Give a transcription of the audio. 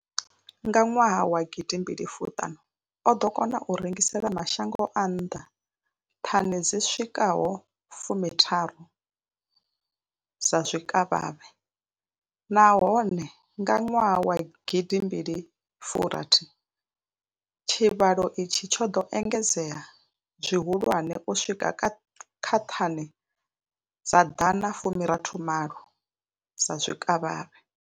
Nga nwaha wa gidi mbili fumi ṱhanu, o ḓo kona u rengisela mashango a nnḓa thani dzi swikaho fumi tharu dza zwikavhavhe, nahone nga nwaha gidi mbili fu rathi tshivhalo itshi tsho ḓo engedzea zwihulwane u swika kha thani dza ḓana fu rathi malo dza zwikavhavhe.